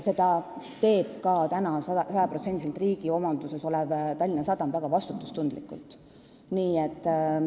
Seda teeb praegu 100%-liselt riigi omandis olev Tallinna Sadam väga vastutustundlikult.